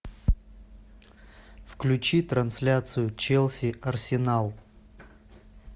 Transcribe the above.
включи трансляцию челси арсенал